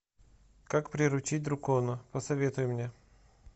как приручить дракона посоветуй мне